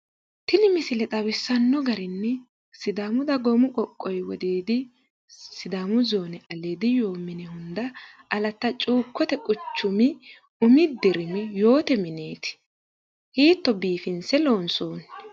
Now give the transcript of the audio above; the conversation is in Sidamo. Tini misile xawisanno garinni sidaamu dagoomi qoqqowi giddo wodiidi sidaamu zoone aliidi yoo mini hunida alata cuukote quchumi umi dirimi yoote mineeti hiitto bifinise lonisooni!